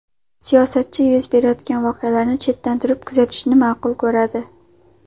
Siyosatchi yuz berayotgan voqealarni chetdan turib kuzatishni ma’qul ko‘radi.